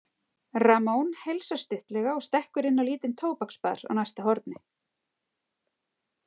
Ramón heilsar stuttlega og stekkur inn á lítinn tóbaksbar á næsta horni.